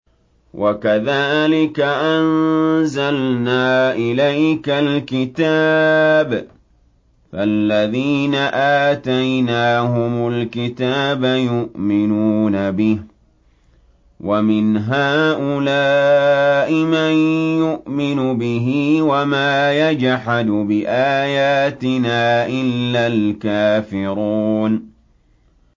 وَكَذَٰلِكَ أَنزَلْنَا إِلَيْكَ الْكِتَابَ ۚ فَالَّذِينَ آتَيْنَاهُمُ الْكِتَابَ يُؤْمِنُونَ بِهِ ۖ وَمِنْ هَٰؤُلَاءِ مَن يُؤْمِنُ بِهِ ۚ وَمَا يَجْحَدُ بِآيَاتِنَا إِلَّا الْكَافِرُونَ